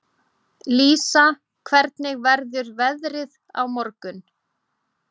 Lísa, hvernig verður veðrið á morgun?